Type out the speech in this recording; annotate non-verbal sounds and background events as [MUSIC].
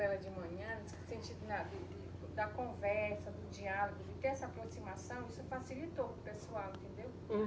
Era de manhã, no sentido [UNINTELLIGIBLE] da conversa, do diálogo, de ter essa aproximação, isso facilitou para o pessoal, entendeu?